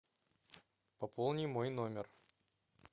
пополни мой номер